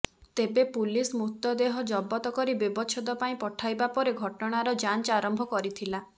ତେବେ ପୁଲିସ ମୃତଦେହ ଜବତ କରି ବ୍ୟବଛେଦ ପାଇଁ ପଠାଇବା ପରେ ଘଟଣାର ଯାଞ୍ଚ ଆରମ୍ଭ କରିଥିଲା